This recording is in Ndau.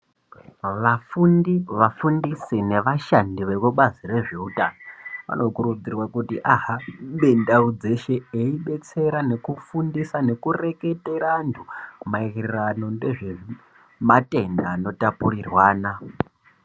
Vafundi vafundisi nevashandi vekubazi rezveutano, vanokurudzirwa kuti ahambe ndau dzeshe, eibetsera nekufundisa nekureketera antu, maererano ndezvematenda aanotapurirwana.